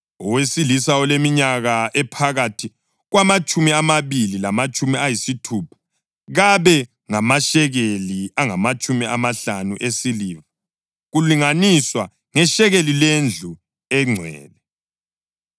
owesilisa oleminyaka ephakathi kwamatshumi amabili lamatshumi ayisithupha kabe ngamashekeli angamatshumi amahlanu esiliva kulinganiswa ngeshekeli lendlu engcwele.